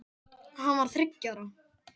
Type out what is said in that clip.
Hann var þá þriggja ára